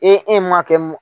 E e m'a kɛ